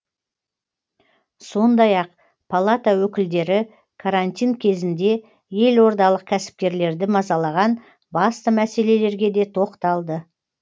сондай ақ палата өкілдері карантин кезінде елордалық кәсіпкерлерді мазалаған басты мәселелерге де тоқталды